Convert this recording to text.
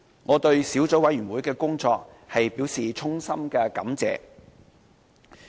我對小組委員會的工作表示衷心感謝。